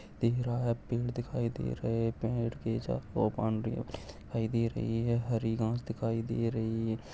तेराह पेड़ दिखाई दे रहे है पेड़ के साथ बॉउंड्री भी दिखाई दे रहे है हरी घाँस दिखाई दे रही है।